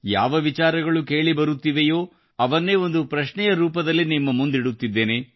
ಯಾವ ವಿಚಾರಗಳು ಕೇಳಿ ಬರುತ್ತಿವೆಯೋ ಅವನ್ನೇ ಒಂದು ಪ್ರಶ್ನೆಯ ರೂಪದಲ್ಲಿ ನಿಮ್ಮ ಮುಂದಿಡುತ್ತಿದ್ದೇನೆ